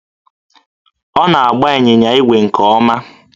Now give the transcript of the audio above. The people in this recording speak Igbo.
Ọ na-agba ịnyịnya ígwè nke ọma